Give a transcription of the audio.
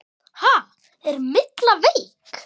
Ha, er Milla veik?